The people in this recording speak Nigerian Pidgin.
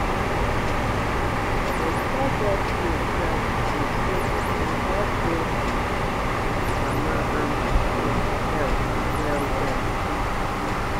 to store breast milk well true-true dey help both mama and pikin health well-well